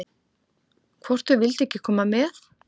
Hvort þau vildu ekki koma með?